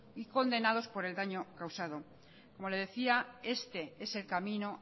y condenados por el daño causado como le decía este es el camino